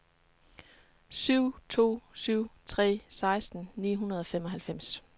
syv to syv tre seksten ni hundrede og femoghalvfems